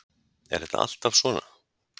Er þetta alltaf svona?